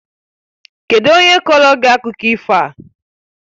Kedụ onye kọọrọ gị akụkọ ifo a?